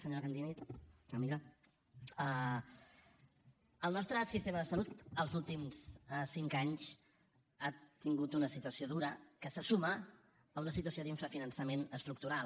senyora candini amiga el nostre sistema de salut els últims cinc anys ha tingut una situació dura que se suma a una situació d’infrafinançament estructural